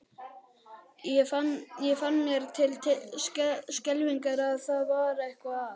Ég fann mér til skelfingar að það var eitthvað að.